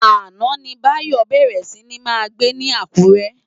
Áná ni Bayo bèrè si ni má gbé Ilù Akure